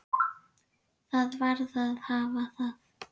Það varð að hafa það.